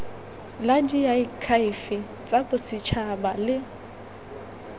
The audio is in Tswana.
la diakhaefe tsa bosetšhaba le